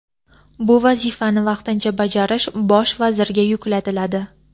bu vazifani vaqtincha bajarish Bosh vazirga yuklatiladi.